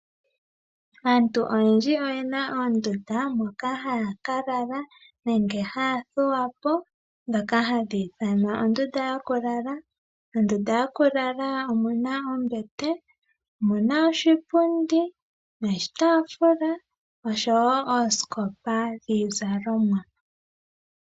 Aantu oyendji oyena oondunda dhokulala nenge dhokuthuwa ndhono hadhi ithanwa oondunda dhokulala. Mondunda yokukala ohamu adhika ombete, oshipundi, oshitafula nosho woo oosikopa dhiizalomwa.